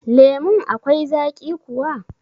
Lemun akwai zaƙi kuwa?